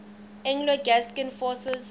anglo gascon forces burning